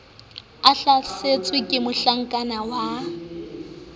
a hlasetswe ke mohlakana wa